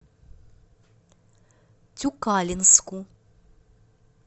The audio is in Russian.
тюкалинску